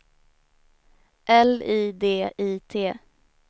L I D I T